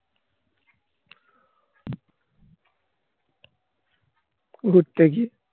ঘুরতে গিয়ে